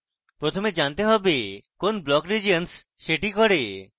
প্রথমে জানতে হবে কোন block regions সেটি করে